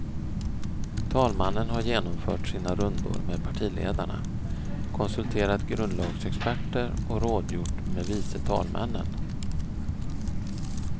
Talmannen har genomfört sina rundor med partiledarna, konsulterat grundlagsexperter och rådgjort med vice talmännen.